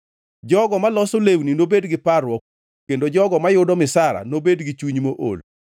Jogo maloso lewni nobed gi parruok, kendo jogo mayudo misara nobed gi chuny mool.